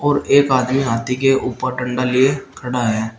और एक आदमी हाथी के ऊपर डंडा लिए खड़ा है।